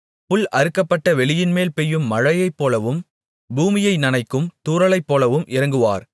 புல் அறுக்கப்பட வெளியின்மேல் பெய்யும் மழையைப்போலவும் பூமியை நனைக்கும் தூறலைப்போலவும் இறங்குவார்